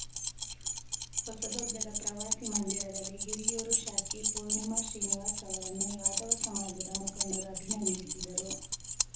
ಹೊಸದುರ್ಗದ ಪ್ರವಾಸಿ ಮಂದಿರದಲ್ಲಿ ಹಿರಿಯೂರು ಶಾಸಕಿ ಪೂರ್ಣಿಮಾ ಶ್ರೀನಿವಾಸ್‌ ಅವರನ್ನು ಯಾದವ ಸಮಾಜದ ಮುಖಂಡರು ಅಭಿನಂದಿಸಿದರು